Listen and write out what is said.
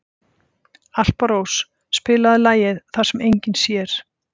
Alparós, spilaðu lagið „Það sem enginn sér“.